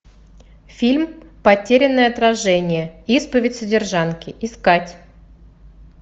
фильм потерянное отражение исповедь содержанки искать